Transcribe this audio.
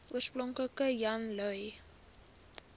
oorspronklik jan lui